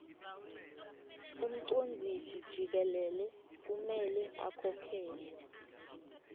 umcondzisijikelele kumele akhokhele